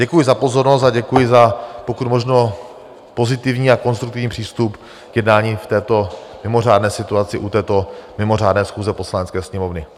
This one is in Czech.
Děkuji za pozornost a děkuji za pokud možno pozitivní a konstruktivní přístup k jednání v této mimořádné situaci u této mimořádné schůze Poslanecké sněmovny.